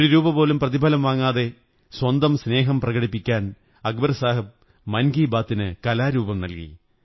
ഒരു രൂപ പോലും പ്രതിഫലം വാങ്ങാതെ സ്വന്തം സ്നേഹം പ്രകടിപ്പിക്കാൻ അക്ബർ സാഹബ് മൻ കീ ബാത്തിന് കലാരൂപം നല്കി